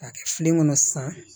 K'a kɛ filen kɔnɔ sisan